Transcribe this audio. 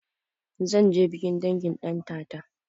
Zanje bikin dangin ɗantata